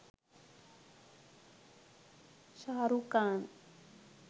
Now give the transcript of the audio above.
sharuk khan